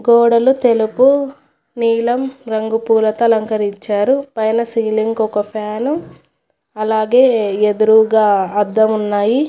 గోడలు తెలుపు నీలం రంగు పూలతో అలంకరించారు పైన సీలింగ్ ఒక ఫ్యాను అలాగే ఎదురుగా అద్ధం ఉన్నాయి.